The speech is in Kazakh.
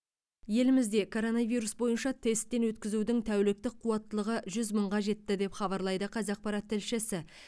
елімізде коронавирус бойынша тесттен өткізудің тәуліктік қуаттылығы жүз мыңға жетті деп хабарлайды қазақпарат тілшісі